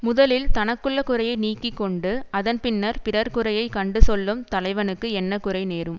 முதலில் தனக்குள்ள குறையை நீக்கி கொண்டு அதன் பின்னர் பிறர் குறையைக் கண்டு சொல்லும் தலைவனுக்கு என்ன குறை நேரும்